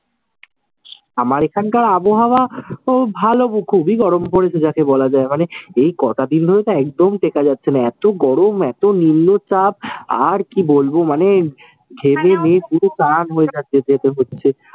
আমার এখানকার আবহাওয়াও ভালো। গরম পড়েছে যাকে বলা যায়। মানে এই কটা দিন ধরে তো একদম টেকা যাচ্ছে না, এতো গরম এতো নিম্নচাপ, আর কি বলবো মানে ঘেমে নেয়ে পুরো চান হয়ে যাচ্ছে